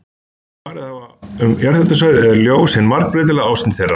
Öllum sem farið hafa um jarðhitasvæði er ljós hin margbreytilega ásýnd þeirra.